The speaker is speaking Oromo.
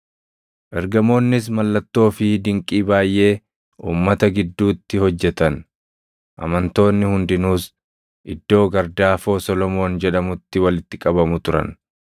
Ergamoonnis mallattoo fi dinqii baayʼee uummata gidduutti hojjetan. Amantoonni hundinuus iddoo gardaafoo Solomoon jedhamutti walitti qabamu turan.